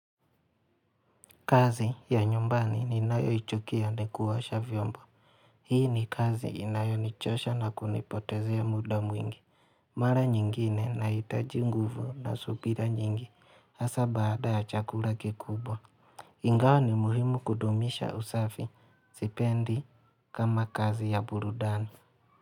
Kazi ya nyumbani ninayoichokia ni kuosha vyombo. Hii ni kazi inayonichosha na kunipotezea muda mwingi. Mara nyingine nahitaji nguvu na subira nyingi hasa baada ya chakula kikubwa. Ingawa ni muhimu kudumisha usafi sipendi kama kazi ya burudani.